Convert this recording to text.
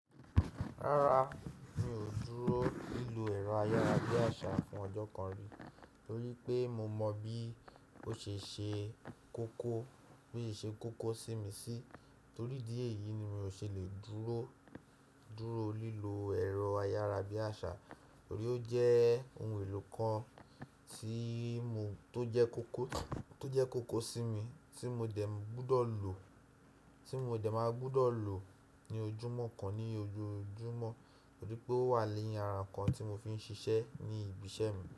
Rárá, mi ò dúró lílo ẹ̀rọ ayárabíàṣá fún ọjọ́ kan rí torí pé mo mọ bí ó ṣe ṣe koko, bó ṣe ṣe koko sí mi sí torí ìdí èyí ni mi ò ṣe lè dúró, dúró lílo ẹ̀rọ ayárabíàṣá. Torí ó jẹ́ òun èlò kan tó jẹ́ kókó sími tí mo dẹ̀ ma gbúdọ̀ lò ní ojoojúmọ́ nítorí pé ówà ní ara ǹkan tí mofin ṣiṣẹ́ ní ibi iṣẹ́ mi.